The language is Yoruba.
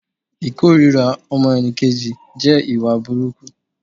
Ìkórira ọmọnìkejì jẹ́ ìwà burukú